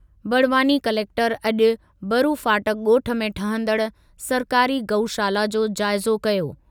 Barwani collector अॼु बरूफाटक ॻोठु में ठहंदड़ु सरकारी गऊशाला जो जाइज़ो कयो।